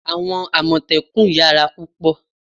Àwọn àmọ̀tẹ́kùn yara púpò